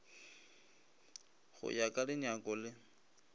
go ya ka dinyako le